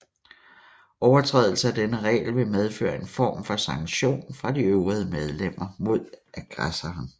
Overtrædelse af denne regel vil medføre en form for sanktion fra de øvrige medlemmer mod aggressoren